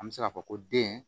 An bɛ se k'a fɔ ko den